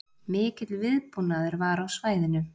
Mikill viðbúnaður var á svæðinu